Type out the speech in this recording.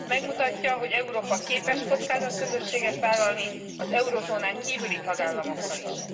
Megmutatja, hogy Európa képes kockázatközösséget vállalni az eurózónán kívüli tagállamokkal is.